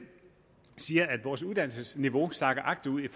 siger at vores uddannelsesniveau sakker agterud i